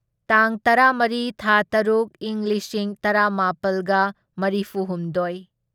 ꯇꯥꯡ ꯇꯔꯥꯃꯔꯤ ꯊꯥ ꯇꯔꯨꯛ ꯢꯪ ꯂꯤꯁꯤꯡ ꯇꯔꯥꯃꯥꯄꯜꯒ ꯃꯔꯤꯐꯨꯍꯨꯝꯗꯣꯢ